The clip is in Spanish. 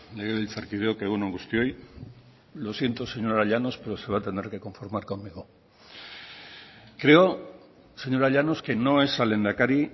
legebiltzarkideok egun on guztioi lo siento señora llanos pero se va a tener que conformar conmigo creo señora llanos que no es al lehendakari